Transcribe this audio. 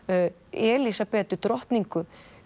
Elísabetu drottningu